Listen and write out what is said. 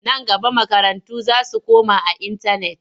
Nan gaba makarantu za su koma a intanet.